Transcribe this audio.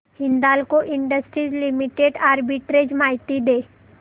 Hindalco industries limited arbitrage माहिती दे